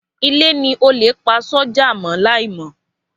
Ilé ni olè pa sójà mọ́ láì mọ.